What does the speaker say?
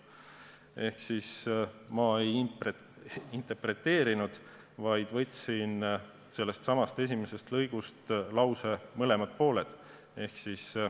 " Ehk ma ei interpreteerinud, vaid võtsin sellest esimesest lõigust lause mõlemad pooled.